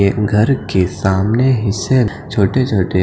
घर के सामने हिस्से छोटे-छोटे--